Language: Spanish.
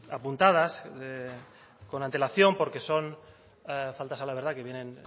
apuntadas con antelación porque son faltas a la verdad que vienen